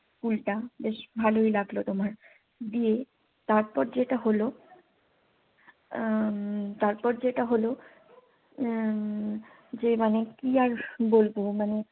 উল্টা বেশ ভালোই লাগলো তোমার দিয়ে তারপর তোমার যেটা হলো উম তারপর যেটা হলো হম যে মানে কি আর বলবো মানে